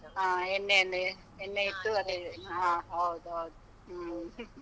ಹಾ ಎಣ್ಣೆಯನ್ನೇ, ಎಣ್ಣೆ ಇಟ್ಟು ಹಾ, ಹೌದೌದು ಹೂಂ .